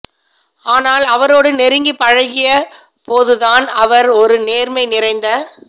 ஆனால் அவரோடு நெருங்கிப் பழகியபோதுதான் அவர் ஒரு நேர்மை நிறைந்த